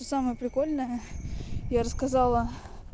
и самое прикольное я рассказала